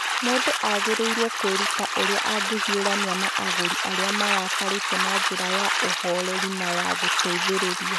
Mũndũ agĩrĩirũo kwĩruta ũrĩa angĩhiũrania na agũri arĩa marakarĩte na njĩra ya ũhooreri na ya gũteithĩrĩria.